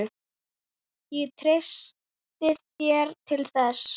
Ég treysti þér til þess.